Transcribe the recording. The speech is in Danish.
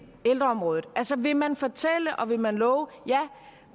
ældreområdet altså vil man fortælle og vil man love at